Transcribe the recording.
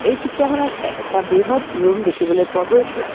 এই চিত্ৰখনত এ এটা বৃহৎ ৰুম দেখিবলৈ পোৱা গৈছে।